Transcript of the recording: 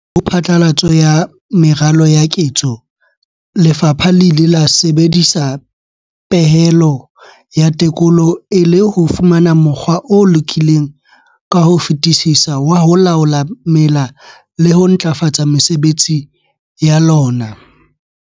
Pele ho phatlalatso ya meralo ya ketso, lefapha le ile la sebedisa pehelo ya tekolo e le ho fumana mokgwa o lokileng ka ho fetisisa wa ho laola mela le ho ntlafatsa mesebetsi ya lona.